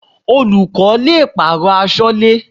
Olùkọ́ le pàrọ̀ aṣọ́lẹ́.